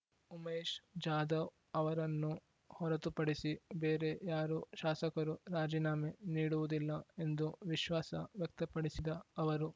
ಉಮೇಶ್ ಜಾಧವ್ ಅವರನ್ನು ಹೊರತುಪಡಿಸಿ ಬೇರೆ ಯಾರೂ ಶಾಸಕರು ರಾಜೀನಾಮೆ ನೀಡುವುದಿಲ್ಲ ಎಂದು ವಿಶ್ವಾಸ ವ್ಯಕ್ತಪಡಿಸಿದ ಅವರು